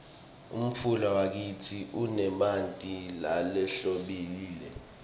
umfula wakitsi unemanti lahlobile